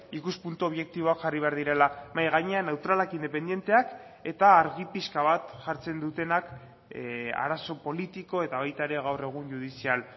ikuspuntu objektiboak jarri behar direla mahai gainean neutralak independenteak eta argi pixka bat jartzen dutenak arazo politiko eta baita ere gaur egun judizial